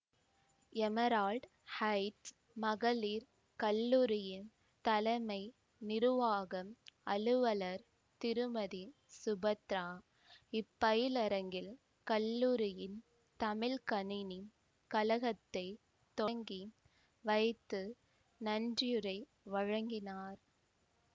Emerald Heights மகளிர் கல்லூரியின் தலமை நிருவாகம் அலுவலர் திருமதி சுபத்திரா இப்பயிலரங்கில் கல்லூரியின் தமிழ் கணினி கழகத்தை தொடங்கி வைத்து நன்றியுரை வழங்கினார்